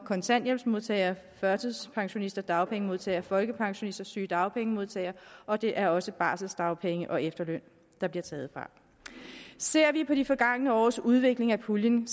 kontanthjælpsmodtagere førtidspensionister dagpengemodtagere folkepensionister sygedagpengemodtagere og det er også barselsdagpenge og efterløn der bliver taget fra ser vi på de forgangne års udvikling af puljen